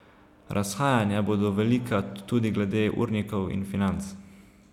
Razhajanja bodo velika, tudi glede urnikov in financ.